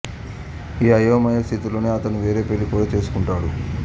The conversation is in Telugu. ఈ అయోమయ స్థితిలోనే అతను వేరే పెళ్ళి కూడా చేసుకుంటాడు